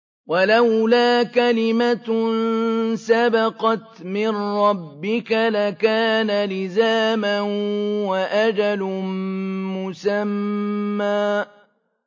وَلَوْلَا كَلِمَةٌ سَبَقَتْ مِن رَّبِّكَ لَكَانَ لِزَامًا وَأَجَلٌ مُّسَمًّى